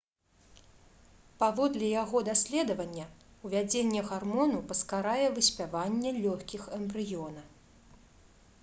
паводле яго даследавання увядзенне гармону паскарае выспяванне лёгкіх эмбрыёна